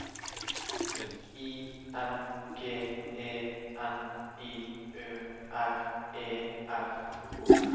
I N G E N I Ø R E R